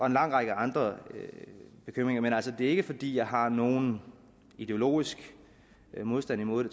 en lang række andre bekymringer men altså det er ikke fordi jeg har nogen ideologisk modstand imod